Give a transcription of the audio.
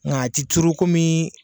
Nka a ti turu komi.